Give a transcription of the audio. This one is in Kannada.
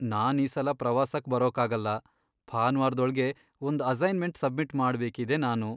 ನಾನ್ ಈ ಸಲ ಪ್ರವಾಸಕ್ ಬರೋಕಾಗಲ್ಲ. ಭಾನ್ವಾರ್ದೊಳ್ಗೆ ಒಂದ್ ಅಸೈನ್ಮೆಂಟ್ ಸಬ್ಮಿಟ್ ಮಾಡ್ಬೇಕಿದೆ ನಾನು.